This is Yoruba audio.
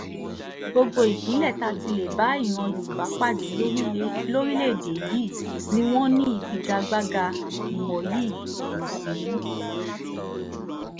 gbogbo ìpínlẹ̀ tá a ti lè bá ìran yorùbá pàdé lórílẹ̀‐èdè yìí ni wọ́n ní ìfigagbága ìmọ̀ yìí kó sínú